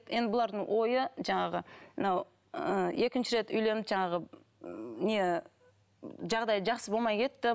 енді бұлардың ойы жаңағы мынау ы екінші рет үйленіп жаңағы не жағдайы жақсы болмай кетті